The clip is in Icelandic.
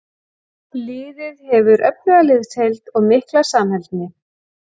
Liðið hefur öfluga liðsheild og mikla samheldni.